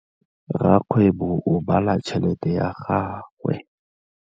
Rakgwêbô o bala tšheletê ya gagwe.